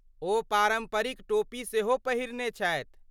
ओ पारम्परिक टोपी सेहो पहिरने छथि।